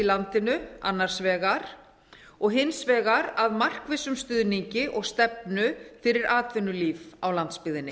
landinu annars vegar og hins vegar að markvissum stuðningi og stefnu fyrir atvinnulíf á landsbyggðinni